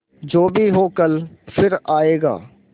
जो भी हो कल फिर आएगा